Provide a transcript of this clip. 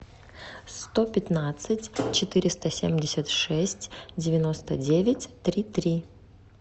сто пятнадцать четыреста семьдесят шесть девяносто девять три три